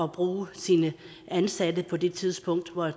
bruge sine ansatte på de tidspunkter hvor